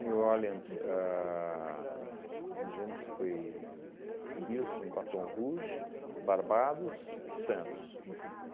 New Orleans, ahn eu não lembro se foi Houston, Baton Rouge, Barbados, Santos.